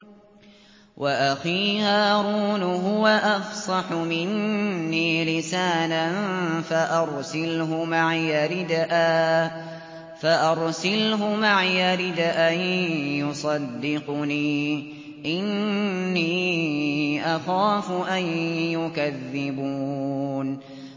وَأَخِي هَارُونُ هُوَ أَفْصَحُ مِنِّي لِسَانًا فَأَرْسِلْهُ مَعِيَ رِدْءًا يُصَدِّقُنِي ۖ إِنِّي أَخَافُ أَن يُكَذِّبُونِ